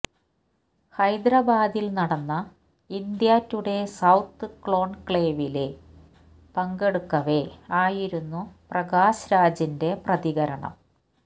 ഹൈദരാബാദില് നടന്ന India Today south കോണ്ക്ലേവില് പങ്കെടുക്കവേ ആയിരുന്നു പ്രകാശ് രാജിന്റെ പ്രതികരണം